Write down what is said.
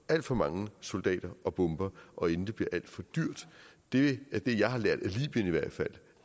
alt for mange soldater og bomber og inden det bliver alt for dyrt det er det jeg har lært